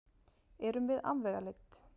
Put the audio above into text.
Erum við afvegaleidd?